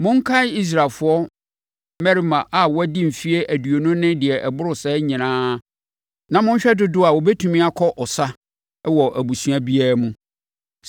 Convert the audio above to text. “Monkan Israelfoɔ mmarima a wɔadi mfeɛ aduonu ne deɛ ɛboro saa nyinaa na monhwɛ dodoɔ a wɔbɛtumi akɔ ɔsa wɔ abusua biara mu.”